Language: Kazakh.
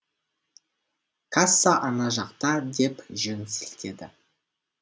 касса ана жақта деп жөн сілтеді